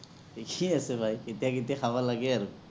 ঠিকে আছে ভাই, কেতিয়া, কেতিয়া খাব লাগে আৰু